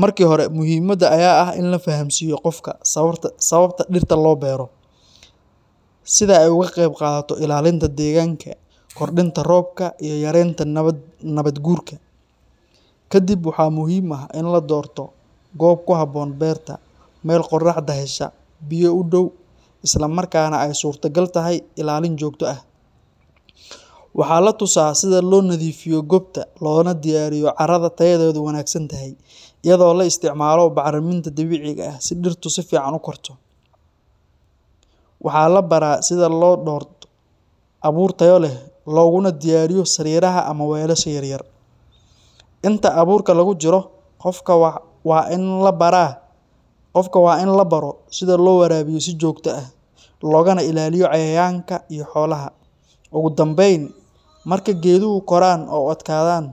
Marka hore, muhiimadda ayaa ah in la fahamsiiyo qofka sababta dhirta loo beero, sida ay uga qayb qaadato ilaalinta deegaanka, kordhinta roobka iyo yareynta nabaad-guurka. Kadib waxaa muhiim ah in la doorto goob ku habboon beerta – meel qoraxda hesha, biyo u dhow, isla markaana ay suurtogal tahay ilaalin joogto ah. Waxaa la tusaa sida loo nadiifiyo goobta loona diyaariyo carrada tayadeedu wanaagsan tahay, iyadoo la isticmaalo bacriminta dabiiciga ah si dhirtu si fiican u korto. Waxaa la baraa sida loo doorto abuur tayo leh looguna diyaariyo sariiraha ama weelasha yaryar. Inta abuurka lagu jiro, qofka waa in la baro sida loo waraabiyo si joogto ah, loogana ilaaliyo cayayaanka iyo xoolaha. Ugu dambeyn, marka geeduhu koraan oo adkaadaan,